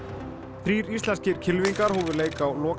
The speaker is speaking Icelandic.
þrír íslenskir kylfingar hófu leik á loka